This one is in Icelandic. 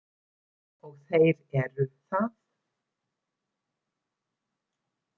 Og þeir eru það.